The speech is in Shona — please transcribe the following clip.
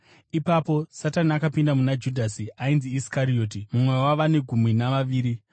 Ipapo Satani akapinda muna Judhasi, ainzi Iskarioti, mumwe wavane gumi navaviri.